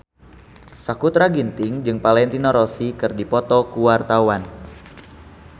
Sakutra Ginting jeung Valentino Rossi keur dipoto ku wartawan